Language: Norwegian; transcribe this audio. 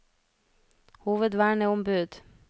hovedverneombud